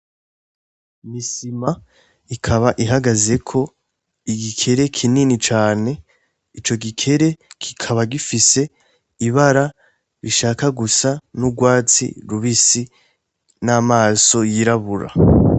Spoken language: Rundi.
Misima ikaba ihagazeko igikere kinini cane ico gikere kikaba gifise ibara bishaka gusa n'urwazi rubisi n'amaso yirabura.